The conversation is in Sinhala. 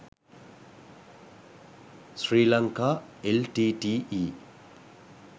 sri lanka l t t e